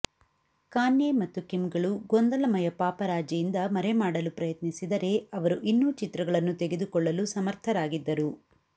Kanye ಮತ್ತು ಕಿಮ್ಗಳು ಗೊಂದಲಮಯ ಪಾಪರಾಜಿಯಿಂದ ಮರೆಮಾಡಲು ಪ್ರಯತ್ನಿಸಿದರೆ ಅವರು ಇನ್ನೂ ಚಿತ್ರಗಳನ್ನು ತೆಗೆದುಕೊಳ್ಳಲು ಸಮರ್ಥರಾಗಿದ್ದರು